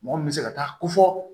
Mɔgɔ min bɛ se ka taa ko fɔ